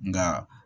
Nka